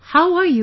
How are you